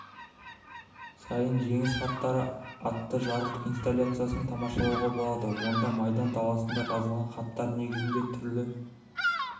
сайын жеңіс хаттары атты жарық инсталляциясын тамашалауға болады онда майдан даласында жазылған хаттар негізінде түрлі